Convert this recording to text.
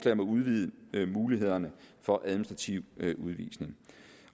at udvide mulighederne for administrativ udvisning